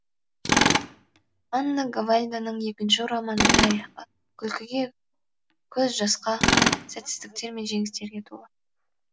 анна гавальданың екінші романы тарихқа күлкіге көз жасқа сәтсіздіктер мен жеңістерге толы